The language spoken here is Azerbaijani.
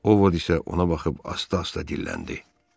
Ovod isə ona baxıb asta-asta dilləndi.